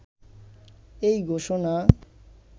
এই ঘোষণা